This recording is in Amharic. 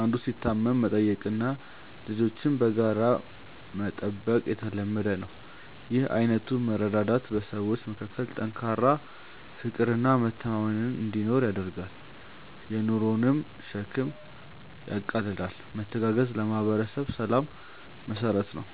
አንዱ ሲታመም መጠየቅና ልጆችን በጋራ መጠበቅ የተለመደ ነው። ይህ አይነቱ መረዳዳት በሰዎች መካከል ጠንካራ ፍቅርና መተማመን እንዲኖር ያደርጋል፤ የኑሮንም ሸክም ያቃልላል። መተጋገዝ ለማህበረሰብ ሰላም መሰረት ነው።